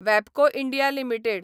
वॅबको India limited